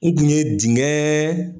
E dun ye dingɛ